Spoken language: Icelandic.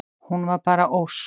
Hún var bara Ósk.